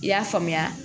I y'a faamuya